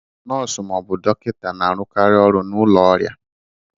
Nọọsụ ma ọ bụ dọkịta na-arụkarị ọrụ n'ụlọ ọrịa